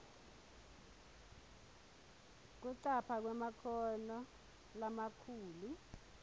kucapha kwemakhono lamakhulu